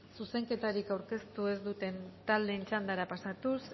zuzenketarik aurkeztu ez duten taldeen txandara pasatuz